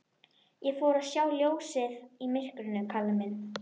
Ég fór að sjá ljósið í myrkrinu, Kalli minn.